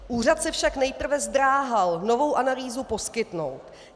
Úřad se však nejprve zdráhal novou analýzu poskytnout.